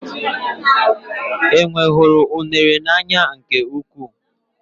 Enwe hụrụ unere n'anya nke ukwuu.